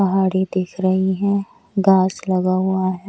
पहाड़े दिख रही हैं घास लगा हुआ हैं।